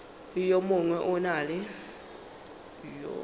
le yo mongwe o na